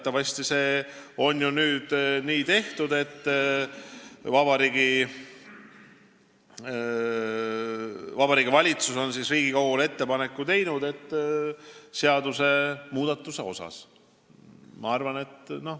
Teatavasti on see ju nüüd tehtud, Vabariigi Valitsus on teinud Riigikogule ettepaneku seadusmuudatuse kohta.